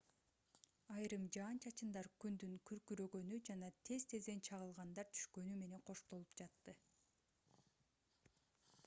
айрым жаан-чачындар күндүн күркүрөгөнү жана тез-тезден чагылгандар түшкөнү менен коштолуп жатты